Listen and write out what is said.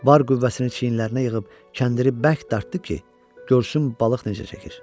Var qüvvəsini çiyinlərinə yığıb, kəndiri bərk dartdı ki, görsün balıq necə çəkir.